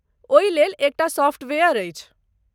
ओहिलेल एकटा सॉफ्टवेयर अछि।